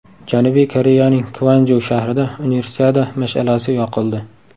Janubiy Koreyaning Kvanju shahrida Universiada mash’alasi yoqildi.